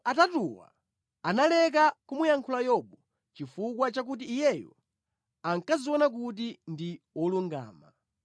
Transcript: Tsono anthu atatuwa analeka kumuyankha Yobu, chifukwa chakuti iyeyo ankadziona kuti ndi wolungama.